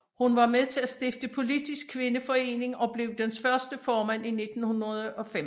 Hun var med til at stifte Politisk Kvindeforening og blev dens første formand i 1905